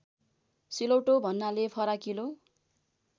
सिलौटो भन्नाले फराकिलो